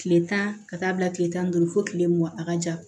Kile tan ka taa bila kile tan ni duuru fo kile mugan a ka ja